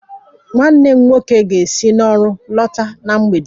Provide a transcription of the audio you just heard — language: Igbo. Nwanne m nwoke ga-esi n'ọrụ lọta na mgbede